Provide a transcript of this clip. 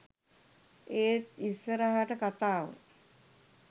ඒත් ඉස්සරහට කතාව